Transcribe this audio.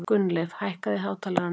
Gunnleif, hækkaðu í hátalaranum.